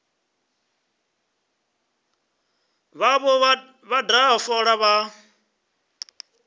vhavho vha daha fola vha